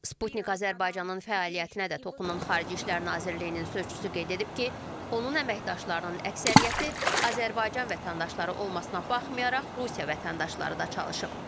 Sputnik Azərbaycanın fəaliyyətinə də toxunan Xarici İşlər Nazirliyinin sözçüsü qeyd edib ki, onun əməkdaşlarının əksəriyyəti Azərbaycan vətəndaşları olmasına baxmayaraq, Rusiya vətəndaşları da çalışıb.